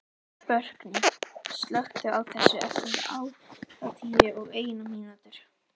Burkney, slökktu á þessu eftir áttatíu og eina mínútur.